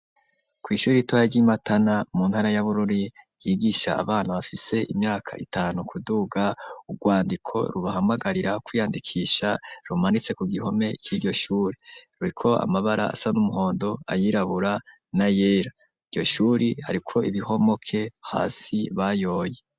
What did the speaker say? Kw'ishuri ritoya ry'i Matana mu ntara ya Bururi, ryigisha abana bafise imyaka itanu kuduga. Urwandiko rubahamagarira kwiyandikisha rumanitse ku gihome c'iryo shuri. Ruriko amabara asa n'umuhondo, ayirabura na yera. Iryo shuri hariko ibihomoke hasi bayoye.